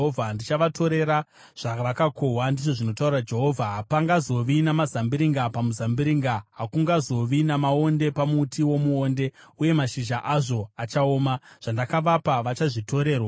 “ ‘Ndichavatorera zvavakakohwa, ndizvo zvinotaura Jehovha. Hapangazovi namazambiringa pamuzambiringa. Hakungazovi namaonde pamuti womuonde, uye mashizha azvo achaoma. Zvandakavapa vachazvitorerwa.’ ”